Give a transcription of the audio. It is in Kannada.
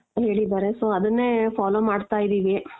ಹೇಳಿದಾರೆ so ಅದನ್ನೇ follow ಮಾಡ್ತಾ ಇದೀವಿ .